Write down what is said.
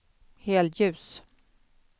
helljus